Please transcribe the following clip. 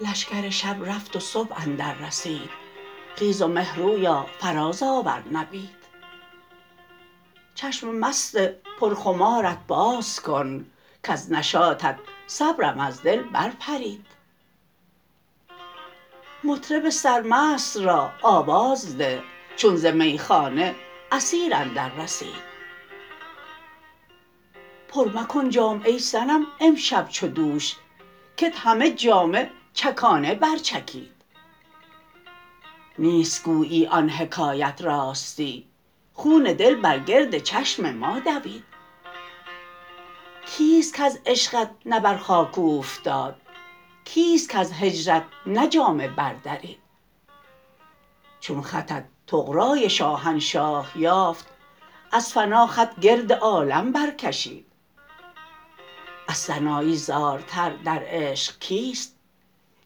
لشکر شب رفت و صبح اندر رسید خیز و مهرویا فراز آور نبید چشم مست پر خمارت باز کن کز نشاطت صبرم از دل بر پرید مطرب سرمست را آواز ده چون ز میخانه عصیر اندر رسید پر مکن جام ای صنم امشب چو دوش کت همه جامه چکانه بر چکید نیست گویی آن حکایت راستی خون دل بر گرد چشم ما دوید کیست کز عشقت نه بر خاک اوفتاد کیست کز هجرت نه جامه بر درید چون خطت طغرای شاهنشاه یافت از فنا خط گردد عالم بر کشید از سنایی زارتر در عشق کیست